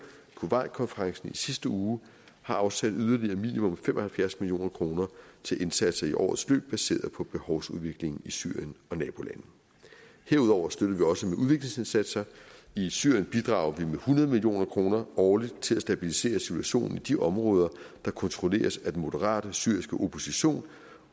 kuwaitkonferencen i sidste uge har afsat yderligere minimum fem og halvfjerds million kroner til indsatser i årets løb baseret på behovsudviklingen i syrien og nabolande herudover støtter vi også med udviklingsindsatser i syrien bidrager vi med hundrede million kroner årligt til at stabilisere situationen i de områder der kontrolleres af den moderate syriske opposition